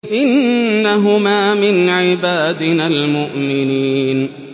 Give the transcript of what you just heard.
إِنَّهُمَا مِنْ عِبَادِنَا الْمُؤْمِنِينَ